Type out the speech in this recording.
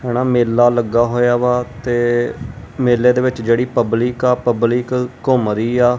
ਜਿਹੜਾ ਮੇਲਾ ਲੱਗਾ ਹੋਇਆ ਵਾ ਤੇ ਮੇਲੇ ਦੇ ਵਿੱਚ ਜਿਹੜੀ ਪਬਲਿਕ ਆ ਪਬਲਿਕ ਘੁੰਮ ਰਹੀ ਆ।